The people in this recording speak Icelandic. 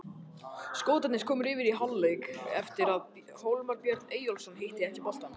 Skotarnir komust yfir í fyrri hálfleik eftir að Hólmar Örn Eyjólfsson hitti ekki boltann.